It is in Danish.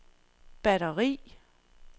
batteri